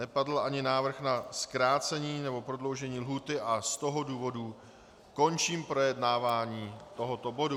Nepadl ani návrh na zkrácení nebo prodloužení lhůty a z toho důvodu končím projednání tohoto bodu.